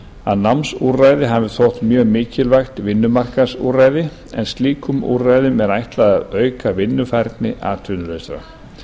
að námsúrræði hafi þótt mjög mikilvægt vinnumarkaðsúrræði en slíkum úrræðum er ætlað að auka vinnufærni atvinnulausra